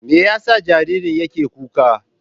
Me yasa jaririn yake kuka?